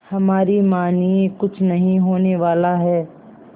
हमारी मानिए कुछ नहीं होने वाला है